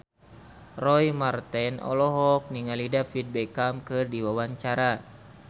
Roy Marten olohok ningali David Beckham keur diwawancara